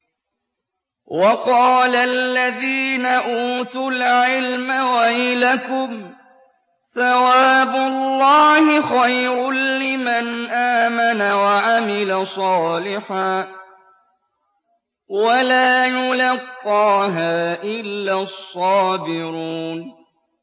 وَقَالَ الَّذِينَ أُوتُوا الْعِلْمَ وَيْلَكُمْ ثَوَابُ اللَّهِ خَيْرٌ لِّمَنْ آمَنَ وَعَمِلَ صَالِحًا وَلَا يُلَقَّاهَا إِلَّا الصَّابِرُونَ